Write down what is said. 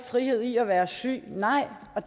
frihed i at være syg nej